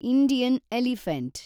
Indian elephant